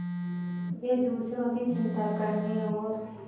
वे दूसरों की चिंता करने और